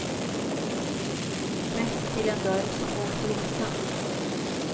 Rätt till en dörr som går att låsa.